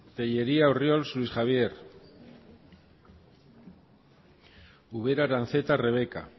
tellería orriols luis javier ubera aranzeta rebeka